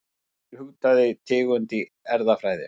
Hvað þýðir hugtakið tegund í erfðafræði?